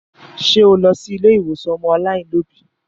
Ṣé o lọ sí ilé àwọn ọmọ aláìní òbí?